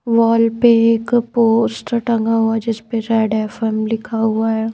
Wall पे एक post टंगा हुआ जिस पे जेड एफ_एम लिखा हुआ है।